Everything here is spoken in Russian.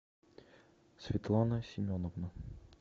светлана семеновна